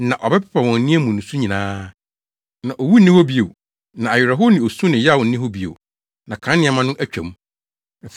Na ɔbɛpepa wɔn aniwa mu nusu nyinaa. Na owu nni hɔ bio, na awerɛhow ne osu ne yaw nni hɔ bio. Na kan nneɛma no atwa mu.”